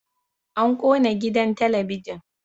An kona gidan talabijin